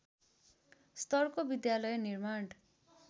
स्तरको विद्यालय निर्माण